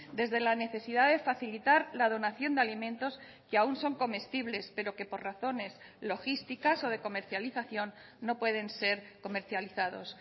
desde la necesidad de facilitar la donación de alimentos que aún son comestibles pero que por razones logísticas o de comercialización no pueden ser comercializados